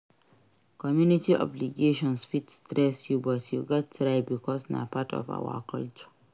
Community obligations fit stress you but you gats try bicos na part of our culture.